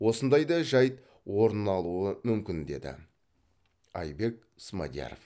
осындай да жайт орын алуы мүмкін деді айбек смадияров